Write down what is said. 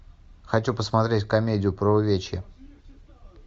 хочу посмотреть комедию про увечья